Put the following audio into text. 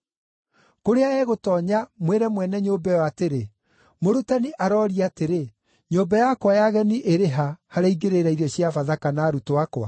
Kũrĩa egũtoonya mwĩre mwene nyũmba ĩyo atĩrĩ, ‘Mũrutani arooria atĩrĩ, nyũmba yakwa ya ageni ĩrĩ ha, harĩa ingĩrĩĩra irio cia Bathaka na arutwo akwa?’